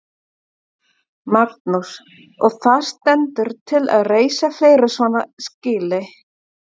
Magnús: Og það stendur til að reisa fleiri svona skýli?